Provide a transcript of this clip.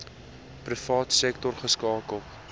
private sektor geskakel